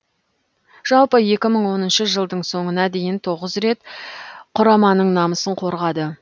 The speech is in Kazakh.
жалпы екі мың оныншы жылдың соңына дейін тоғыз рет құраманың намысын қорғады